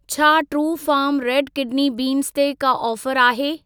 छा Truefarm red kidney beans ते का ऑफर आहे?